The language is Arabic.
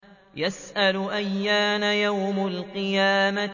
يَسْأَلُ أَيَّانَ يَوْمُ الْقِيَامَةِ